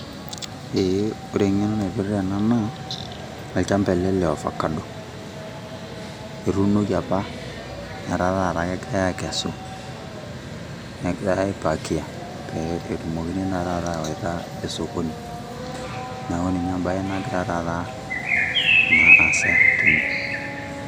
eeh ore eng'eno naipirta ena naa olchamba ele le ovacado etuunoki apa netaa taata kegirai aikesu, negirae aipakia pee etumokini naa taata awaita esokoni, neeku ninye embae nagira taata aasa tene.